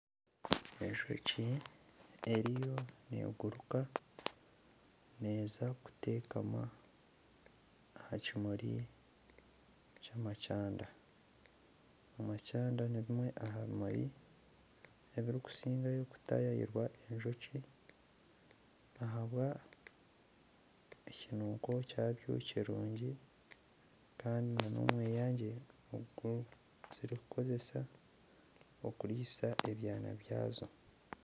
Enjoki eriyo neguruka neeza kuteekama aha kimuri ky'amakyanda. Amakyanda ni bimwe aha bimuri ebirikusigayo kutayaayirwa enjoki ahabwa ekinuko kyabyo ekirungi kandi na n'omweyangye ogu kirikukozesa okuriisa ebyana byazo.